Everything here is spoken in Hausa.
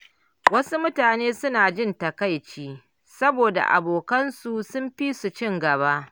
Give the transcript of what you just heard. Wasu mutane suna jin takaici saboda abokan su sun fi su ci gaba.